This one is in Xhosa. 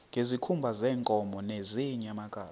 ngezikhumba zeenkomo nezeenyamakazi